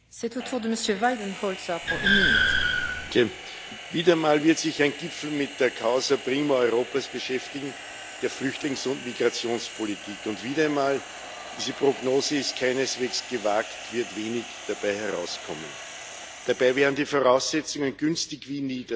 Frau Präsidentin! Wieder einmal wird sich ein Gipfel mit der Europas beschäftigen, der Flüchtlings und Migrationspolitik, und wieder einmal diese Prognose ist keineswegs gewagt wird wenig dabei herauskommen. Dabei wären die Voraussetzungen günstig wie nie.